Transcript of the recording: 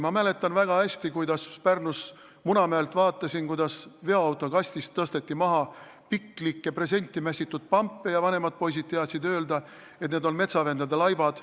Ma mäletan väga hästi, kui ma Pärnus Munamäelt vaatasin, kuidas veoautokastist tõsteti maha piklikke presenti mässitud pampe, ja vanemad poisid teadsid öelda, et need on metsavendade laibad.